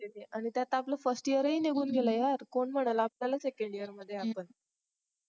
आणि त्यात आपल first year पण निघून गेलं यार कोन म्हणालं आपण second year मध्ये आहोत आपण